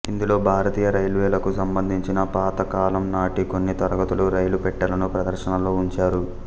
ఇందులో భారతీయ రైల్వేలకు సంబంధించిన పాతకాలం నాటి కొన్ని తరగతుల రైలు పెట్టెలను ప్రదర్శనలో వుంచారు